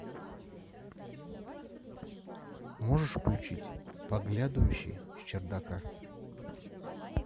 можешь включить подглядывающий с чердака